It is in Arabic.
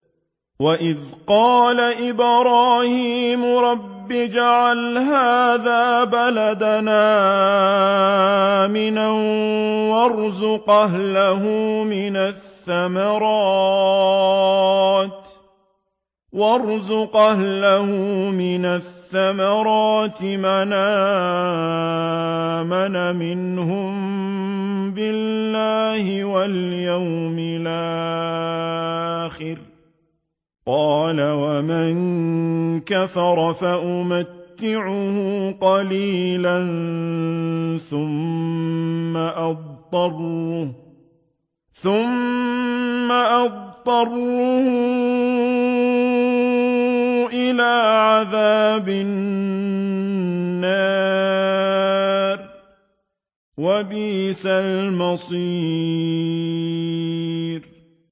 وَإِذْ قَالَ إِبْرَاهِيمُ رَبِّ اجْعَلْ هَٰذَا بَلَدًا آمِنًا وَارْزُقْ أَهْلَهُ مِنَ الثَّمَرَاتِ مَنْ آمَنَ مِنْهُم بِاللَّهِ وَالْيَوْمِ الْآخِرِ ۖ قَالَ وَمَن كَفَرَ فَأُمَتِّعُهُ قَلِيلًا ثُمَّ أَضْطَرُّهُ إِلَىٰ عَذَابِ النَّارِ ۖ وَبِئْسَ الْمَصِيرُ